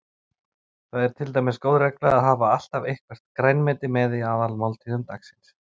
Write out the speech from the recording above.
Það er til dæmis góð regla að hafa alltaf eitthvert grænmeti með í aðalmáltíðum dagsins.